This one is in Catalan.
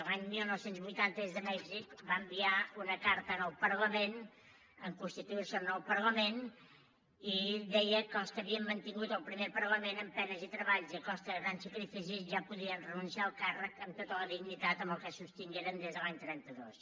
l’any dinou vuitanta des de mèxic va enviar una carta al parlament en constituirse el nou parlament i deia que els que havien mantingut el primer parlament amb penes i treballs i a costa de grans sacrificis ja podien renunciar al càrrec amb tota la dignitat amb què el sostingueren des de l’any trenta dos